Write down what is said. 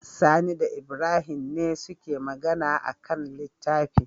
Sani da Ibrahim ne suke Magana akan littafi